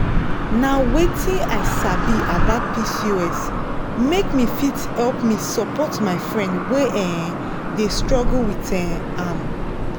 nh wetin i sabi about pcos make me fit help me support my friend wey um dey struggle with um am.